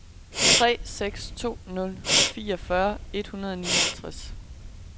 tre seks to nul fireogfyrre et hundrede og nioghalvfjerds